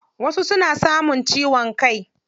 Wasu suna samun ciwon kai.